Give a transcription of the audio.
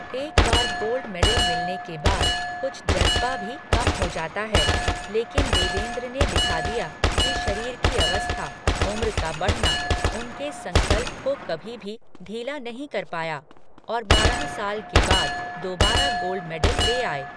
एक बार gold medal मिलने के बाद कुछ जज़्बा भी कम हो जाता है, लेकिन देवेन्द्र ने दिखा दिया कि शरीर की अवस्था, उम्र का बढ़ना, उनके संकल्प को कभी भी ढीला नहीं कर पाया और बारह साल के बाद दोबारा गोल्ड मेडल ले आए।